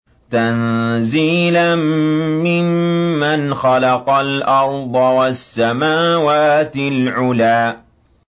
تَنزِيلًا مِّمَّنْ خَلَقَ الْأَرْضَ وَالسَّمَاوَاتِ الْعُلَى